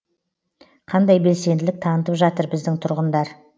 қандай белсенділік танытып жатыр біздің тұрғындар